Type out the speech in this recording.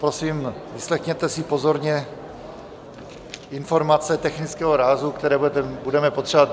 Prosím, vyslechněte si pozorně informace technického rázu, které budeme potřebovat.